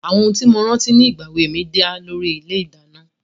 Àwọn ohun tí mo rántí nígbà èwe mi dá lórí ilé-ìdáná.